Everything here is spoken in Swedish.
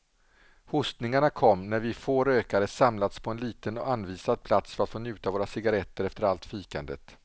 Hostningarna kom när vi få rökare samlats på en liten anvisad plats för att få njuta våra cigarretter efter allt fikandet.